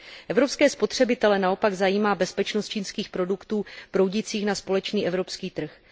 Evropské spotřebitele naopak zajímá bezpečnost čínských produktů proudících na společný evropský trh.